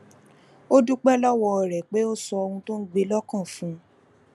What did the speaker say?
ó dúpé lówó rè pé ó sọ ohun tó ń gbé e lókàn fún un